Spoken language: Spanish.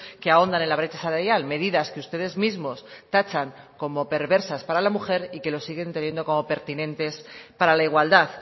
que ahondan en la brecha salarial medidas que ustedes mismos tachan como perversas para la mujer y que lo siguen teniendo como pertinentes para la igualdad